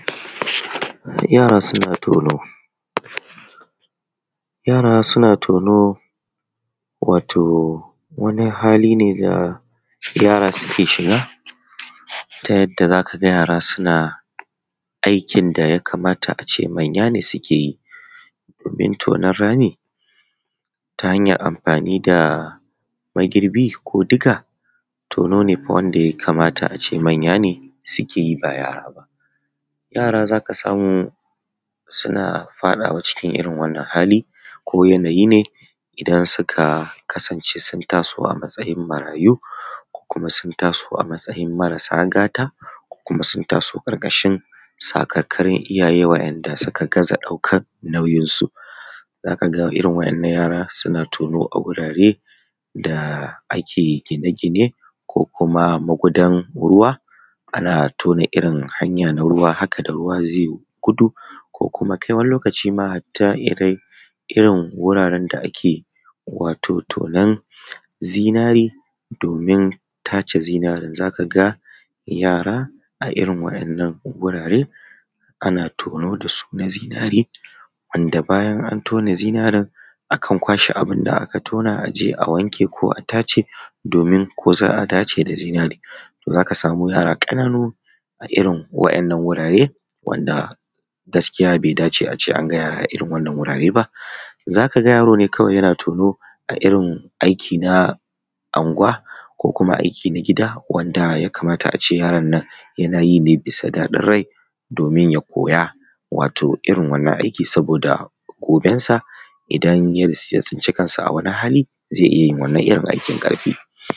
Yara suna tono, yara suna tono wato wani hali ne da yara suke shiga ta yadda za ka ga yara suna aikin da ya kamata a ce manya suke yi ta hanyar amfani da magirbi ko diga tono ne wanda ya kamata ce manye suke yi ba yara ba. Yara za ka samu suna faɗawa cikin irin wannan hali ko yanayi ne idan suka kasance sun taso a matsayin marayu ko sun taso a matsayin marasa gata ko sun taso a ƙarƙashin sakarkarun iyaye da suka gaza ɗaukar nauyinsu, za ka ga irin waɗannan yara suna tono a wurare da ake gine-gine ko kuma magudan ruwa ana tona irin hanyar ruwa da ruwa zai gudu. Kai wani lokaci ma har irin wuraren da ake tonon zinare domin tace zinarin y za ka ga yara a irin waɗannan gurare ana tono da su na zinare, bayan an tona zinare akan kwashe abun da aka tona a je a wanke a tace ko za a dace da zinare. Za ka smu yara ƙananu a irin waɗannan wurare wanda gaskiya bai dace a ce an ga yara a irin wannan wurare ba, za ka ga yaro ne kawai yana tono a irin aiki na anguwa ko kuma aiki na gida wanda ya. Kamata a ce yaran nan yana yi ne na gida na daɗin rai domin ya koya wato irin wannan aiki Saboda gobensa idan ya tsinci kansa a wani hali zai iya yin wannan irin aikin.